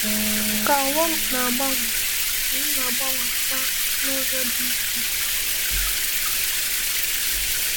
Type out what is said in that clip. Ka ụwa na-agbanwe, anyị na-agbanwekwa n’ụzọ dị iche iche.